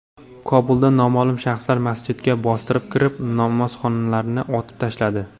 Kobulda noma’lum shaxslar masjidga bostirib kirib, namozxonlarni otib tashladi.